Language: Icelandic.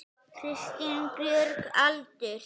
Kristín Björg Aldur?